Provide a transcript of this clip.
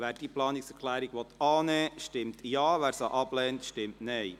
Wer diese Planungserklärung annehmen will, stimmt Ja, wer sie ablehnt, stimmt Nein.